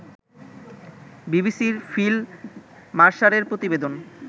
বিবিসির ফিল মারসারের প্রতিবেদন